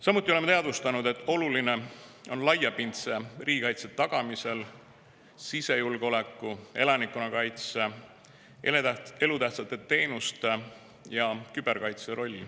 Samuti oleme teadvustanud, et laiapindse riigikaitse tagamisel on oluline sisejulgeoleku, elanikkonnakaitse, elutähtsate teenuste ja küberkaitse roll.